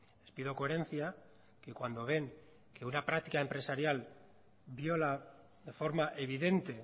les pido coherencia que cuando ven que una práctica empresarial viola de forma evidente